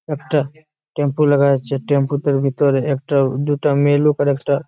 একটা টেম্পো লাগা আচ্ছে। টেম্পো তর ভিতর একটা দুটা মেয়ে লোক আর একটা--